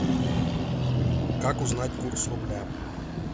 как узнать курс рубля